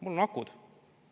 Mul on akud.